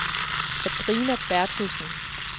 Sabrina Berthelsen